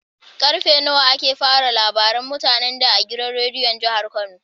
Karfe nawa ake fara labaran mutane da a gidan rediyon kano?